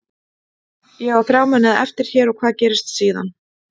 Ég á þrjá mánuði eftir hér og hvað gerist síðan?